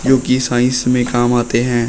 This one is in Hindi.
जो कि साइंस में काम आते हैं।